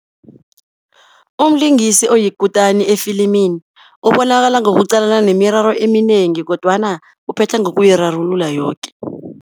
Umlingisi oyikutani efilimini ubonakala nokuqalana nemiraro eminengi, kodwana uphetha ngokuyirarulula yoke.